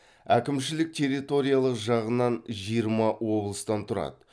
әкімшілік территориялық жағынан жиырма облыстан тұрады